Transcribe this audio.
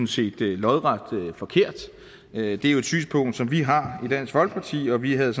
set lodret forkert det er jo et synspunkt som vi har i dansk folkeparti og vi havde